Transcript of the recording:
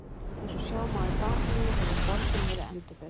Eins og sjá má í bakgrunni hefur borgin verið endurbyggð.